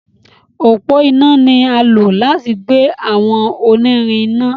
Ọpọ iná ní a lò láti gbé àwọn onírin iná.